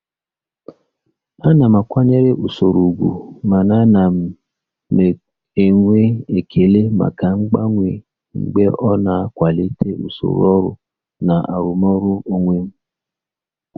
Ana m akwanyere usoro ùgwù mana ana m enwe ekele maka mgbanwe mgbe ọ na-akwalite usoro ọrụ na arụmọrụ onwe m.